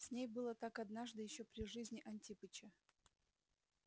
с ней было так однажды ещё при жизни антипыча